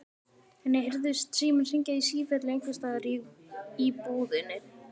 Henni heyrðist síminn hringja í sífellu einhvers staðar í íbúðinni.